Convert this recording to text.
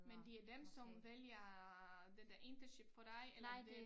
Men det er dem som vælger øh den dér internship for dig eller det